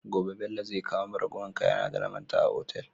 Gobe Bello zai kawo mun ragowar kaya na da na manta a otal